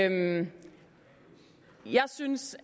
ikke jeg synes